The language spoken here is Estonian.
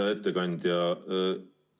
Hea ettekandja!